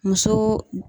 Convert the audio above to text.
Muso